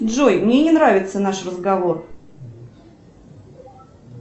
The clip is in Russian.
джой мне не нравится наш разговор